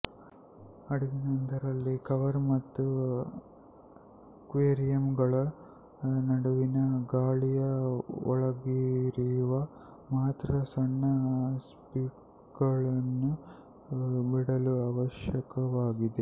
ಹಡಗಿನೊಂದರಲ್ಲಿ cover ಮತ್ತು ಅಕ್ವೇರಿಯಂಗಳ ನಡುವಿನ ಗಾಳಿಯ ಒಳಹರಿವು ಮಾತ್ರ ಸಣ್ಣ ಸ್ಲಿಟ್ಗಳನ್ನು ಬಿಡಲು ಅವಶ್ಯಕವಾಗಿದೆ